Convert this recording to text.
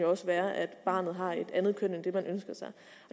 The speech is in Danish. også være at barnet har et andet køn end det man ønsker sig